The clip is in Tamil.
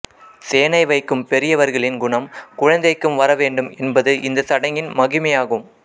சேனை வைக்கும் பெரியவர்களின் குணம் குழந்தைக்கும் வரவேண்டும் என்பது இந்த சடங்கின் மகிமையாகும்